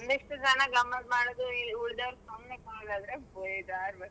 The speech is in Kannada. ಒಂದಿಷ್ಟು ಜನ ಗಮ್ಮತ್ ಮಾಡೋದು ಉಳ್ದವ್ರು ಸುಮ್ನೆ ಕೂರೋದಾದ್ರೆ ಬೇಜಾರ್ .